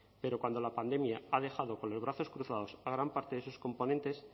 pero cuando la pandemia ha dejado con los brazos cruzados a gran parte de sus componentes